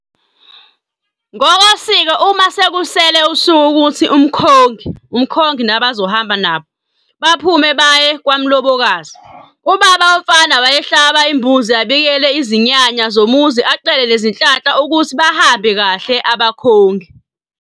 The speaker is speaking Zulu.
Ngokosiko uma sekusele usuku ukuthi umkhongi, uMkhongi nazohamba nabo, baphume baye kwamlobokazi, ubaba womfana wayehlaba imbuzi abikele izinyanya zomuzi acele nezinhlanhla ukuthi bahambe kahle abakhongi.